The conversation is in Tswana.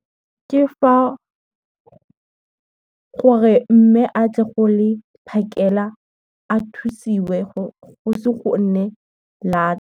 Ke fa, gore mme a tle go le phakela a thusiwe go isi gonne lata.